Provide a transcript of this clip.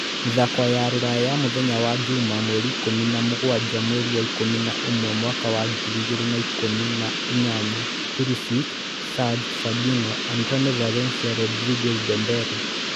Mĩthako ya Rũraya ya Mĩthenya ya juma mweri kũmi na mũgwanja mweri wa ikũmi na ũmwe mwaka wa ngiri igĩrĩ na ikũmi na inyanya: Pulisic, Hysaj, Fabinho, Antonio Valencia, Rodriguez, Dembele